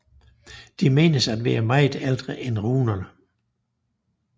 De menes at være meget ældre end runerne